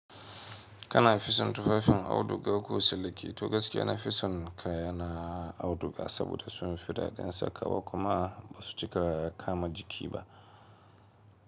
Kana fisan tufafin auduga ko siliki, to gaskiya na fisan kaya na auduga saboda sun fi daɗin sakawa kuma ba su cika kama jiki ba.